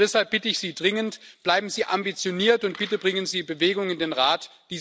Deshalb bitte ich Sie dringend Bleiben Sie ambitioniert und bitte bringen Sie Bewegung in den Rat.